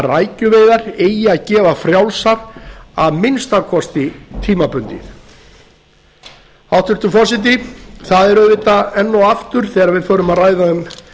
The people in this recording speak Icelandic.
rækjuveiðar eigi að gefa fjrálsar að minnsta kosti tímabundið hæstvirtur forseti það er auðvitað enn og aftur þegar við förum að ræða um